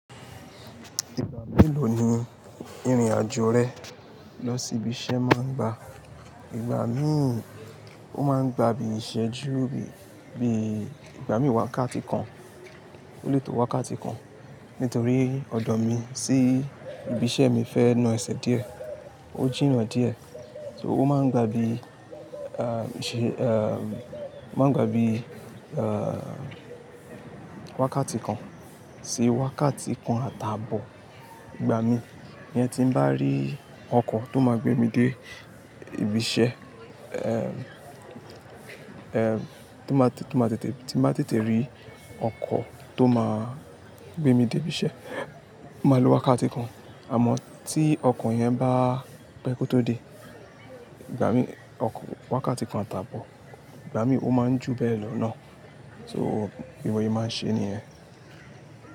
Ìgbà mélòó ni ìrìn-àjò rẹ lọ sí ibi iṣẹ́ máa ń gba? Ìgbà mí, ó máa ń gba bí iṣẹ́ ju, bí i, ìgbà mí wá wákati kan, ó lè tó wá wákati kan. Nítorí ọ̀dọ̀ mi sí ibi iṣẹ́ mi fẹ́ na ẹsẹ̀ díẹ̀, ó jìnnà díẹ̀. So ó máa ń gba bí i, máa ń gba bí i, wákàtí kan sí wákàtí kan àtàbọ̀. Ìgbà mí, yẹn tí ń bá rí ọkọ̀ tó máa gbé mi dé ibi iṣẹ́, tí ń bá tètè rí ọkọ̀ tó máa gbé mi dé ibi iṣẹ́, màá lo wákàtí kan. Àmọ́ tí ọkọ̀ yẹn bá pẹ́ kó tó dé, ìgbà mí, ọkọ̀, wákàtí kan àtàbọ̀, ìgbà mí ó máa ń ju bẹ́ẹ̀ lọ náà. So, be mo se máa ṣe nìyẹn.